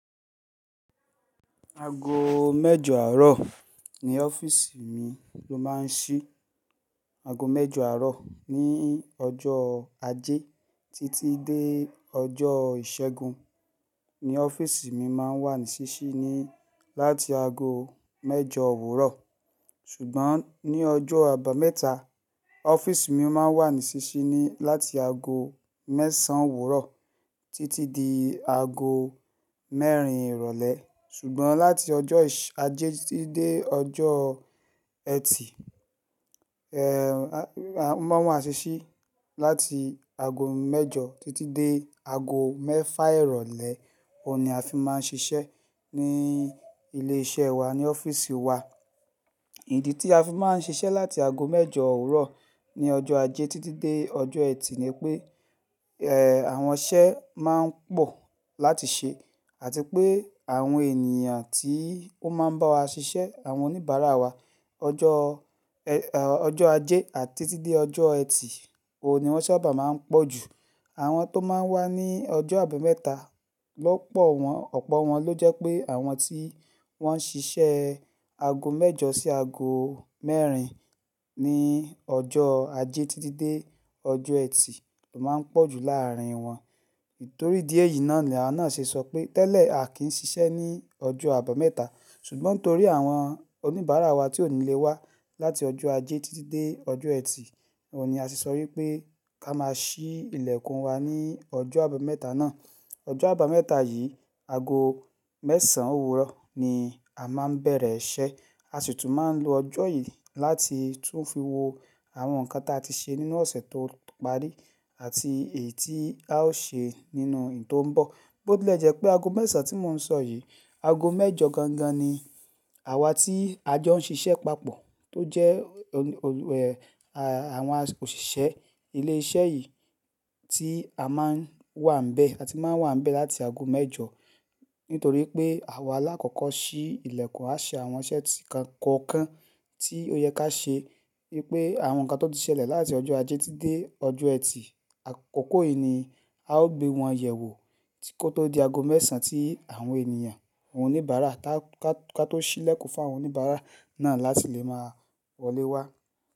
Aago mẹ́jọ àárọ̀ ni ọ́fíìsì mi ló máa ń ṣí. Aago mẹ́jọ àárọ̀ ní ọjọ́ ajé títí dé ọjọ́ ìṣẹ́gun ni ọ́fíìsì mi máa ń wà ní ṣíṣí ni láti aago mẹ́jọ òwúrọ̀. Ṣùgbọ́n ní ọjọ́ àbámẹ́ta, ọ́fíìsì mi máa ń wà ní ṣíṣí ni láti aago mẹ́sàn-án òwúrọ̀ títí di aago mẹ́rin ìrọ̀lẹ́. Ṣùgbọ́n láti ọjọ́ ajé títí dé ọjọ́ Ẹtì, a máa ń wà síṣí láti aago mẹ́jọ títí dé aago mẹ́fà ìrọ̀lẹ́. Ó ni a fi máa ń ṣiṣẹ́ ní ilé iṣẹ́ wa, ní ọ́fíìsì wa. Ìdí tí a fi máa ń ṣiṣẹ́ láti ago mẹ́jọ òwúrọ̀ ní ọjọ́ ajé títí dé ọjọ́ Ẹtì ni pé àwọn iṣẹ́ máa ń pọ̀ láti ṣe àti pé àwọn ènìyàn tí ó máa ń bá wa ṣiṣẹ́, àwọn oníbàárà wa, ọjọ́, ọjọ́ ajé àti títí dé ọjọ́ Ẹtì, òun ni wọ́n sábà máa ń pọ̀ jù. Àwọn tó máa ń wá ní ọjọ́ àbámẹ́ta, lọ́pọ̀ wọ́n, ọ̀pọ̀ wọn ló jẹ́ pé àwọn tí wọ́n ń ṣiṣẹ́ aago mẹ́jọ sí aago mẹ́rin ní ọjọ́ ajé títí dé ọjọ́ Ẹtì ló máa ń pọ̀ jù láàárín wọn. Nítorí ìdï èyï náà ni à náà ṣe sọ pé tẹ́lẹ̀, a kì í ṣiṣẹ́ ní ọjọ́ àbámẹ́ta. Ṣùgbọ́n torí àwọn oníbàárà wa tí ò ní lè wá láti ọjọ́ ajé títí dé ọjọ́ Ẹtì, òun ni a sì sọ wí pé ká máa ṣí ilẹ̀kùn wa ní ọjọ́ àbámẹ́ta náà. Ọjọ́ àbámẹ́ta yìí, ago mẹ́sàn-án òwúrọ̀ ni a máa ń bẹ̀rẹ̀ iṣẹ́. A sì tún máa ń lo ọjọ́ yìí láti tún fi wo àwọn nǹkan tí a ti ṣe nínú ọ̀sẹ̀ tó parí àti èyí tí a ó ṣe nínú ì tó ń bọ̀. Bó tí lè jẹ́ pé ago mẹ́sàn-án tí mò ń sọ yìí, ago mẹ́jọ gangan ni àwa tí a jọ ń ṣiṣẹ́ papọ̀ tó jẹ́ àwọn òṣìṣẹ́ ilé iṣẹ́ yìí tí a máa ń wà ń bẹ́ àti máa ń wà ń bẹ́ láti ago mẹ́jọ. Nítorí pé àwa lá kókọ́ ṣí ilẹ̀kùn, a ṣe àwọn iṣẹ́ kan kọ̀ọ̀kan tí ó yẹ ká ṣe wípé àwọn nǹkan tó ti ṣẹlẹ̀ láti ọjọ́ ajé títí dé ọjọ́ Ẹtì. Àkókò yìí ni a ó gbé wọn yẹ̀ wò kó tó di ago mẹ́sàn-án tí àwọn ènìyàn, àwọn oníbàárà ká tó ṣí ilẹ̀kùn fún àwọn oníbàárà náà láti lè máa wọlé wá.